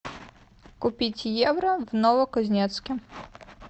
купить евро в новокузнецке